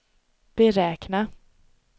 beräkna